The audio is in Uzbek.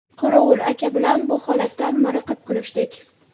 Qorovul aka bilan bu holatdan miriqib kulishdik.